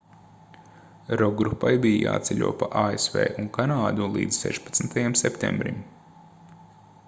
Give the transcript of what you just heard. rokgrupai bija jāceļo pa asv un kanādu līdz 16. septembrim